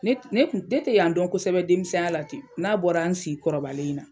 Ne ne ne tɛ yan dɔn kosɛbɛ denmisɛnya la ten n'a bɔra n si kɔrɔbalen in na.